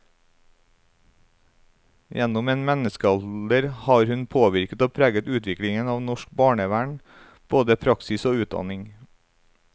Gjennom en menneskealder har hun påvirket og preget utviklingen av norsk barnevern, både praksis og utdanning.